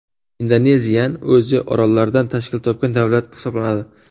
Indoneziyan o‘zi orollardan tashkil topgan davlat hisoblanadi.